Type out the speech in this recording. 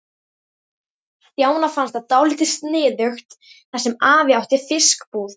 Stjána fannst það dálítið sniðugt þar sem afi átti fiskbúð.